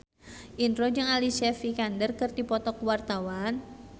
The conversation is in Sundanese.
Indro jeung Alicia Vikander keur dipoto ku wartawan